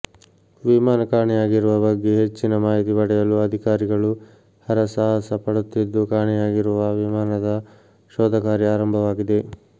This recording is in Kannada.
ವಿಮಾನ ಕಾಣೆಯಾಗಿರುವ ಬಗ್ಗೆ ಹೆಚ್ಚಿನ ಮಾಹಿತಿ ಪಡೆಯಲು ಅಧಿಕಾರಿಗಳು ಹರಸಾಹಸ ಪಡುತ್ತಿದ್ದು ಕಾಣೆಯಾಗಿರುವ ವಿಮಾನದ ಶೋಧ ಕಾರ್ಯ ಆರಂಭವಾಗಿದೆ